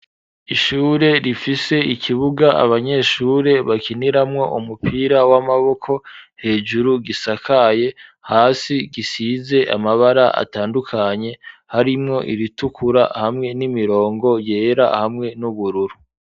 Ishure rifise ikibuga abanyeshure bakiniramwo umupira w'amaboko hejuru gisakaye hasi gisize amabara atandukanye harimwo iritukura hamwe n'imirongo yera hamwe n'ubururu